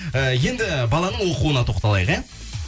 і енді баланың оқуына тоқталайық иә